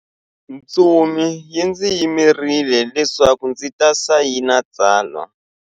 Ntsumi yi ndzi yimerile leswaku ndzi ta sayina tsalwa.